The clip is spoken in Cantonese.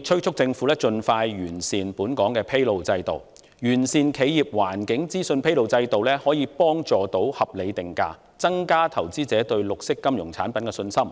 敦促政府盡快完善本港的披露制度，因為完善的企業環境資訊披露制度有助合理定價，這便能加強投資者對綠色金融產品的信心。